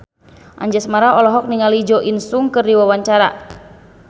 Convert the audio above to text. Anjasmara olohok ningali Jo In Sung keur diwawancara